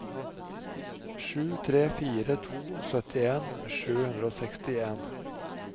sju tre fire to syttien sju hundre og sekstien